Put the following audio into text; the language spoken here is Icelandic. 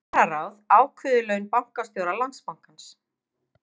Kjararáð ákveður laun bankastjóra Landsbankans